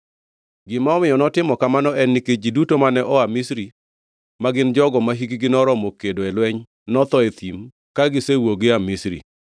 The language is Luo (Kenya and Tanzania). Gima omiyo notimo kamano en nikech ji duto mane oa Misri; ma gin jogo mahikgi noromo kedo e lweny, notho e thim ka gisewuok gia Misri.